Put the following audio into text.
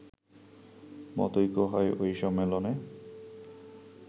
মতৈক্য হয় ওই সম্মেলনে